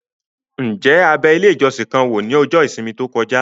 Ǹjẹ́ a bẹ ilé ìjọsìn kan wò ní ọjọ́ ìsinmi tó kọjá?